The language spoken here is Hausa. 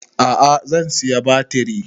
A'a zan saya batriri